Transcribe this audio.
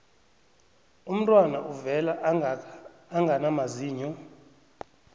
umntwana uvela angana mazinyo